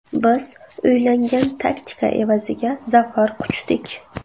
Biz o‘ylangan taktika evaziga zafar quchdik.